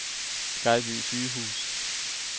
Skejby Sygehus